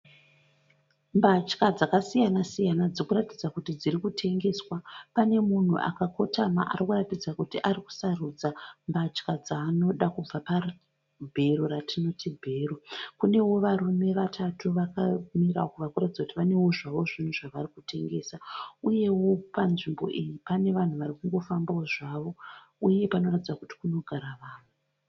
Mbatya dzakasiyana siyana dziri kuratidza kuti dziri kutengeswa pane munhu akakotama ari kuratidza kuti ari kusarudza mbatya dzaanoda kubva pabhero ratinoti bhero kunewo varume vatatu vakamira uko vari kuratidza kuti vanewo zvavo zvinhu zvavari kutengesa uyewo panzvimbo iyi pane vanhu varikungo fambawo zvavo uye panoratidza kuti kunogara vanhu.